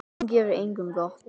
Hún gerir engum gott.